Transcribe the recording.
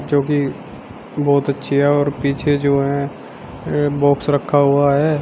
जोकि बहोत अच्छी है और पीछे जो है बाॅक्स रखा हुआ है।